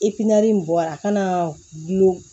in bɔra a kana gulon